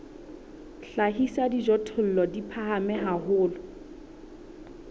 hlahisa dijothollo di phahame haholo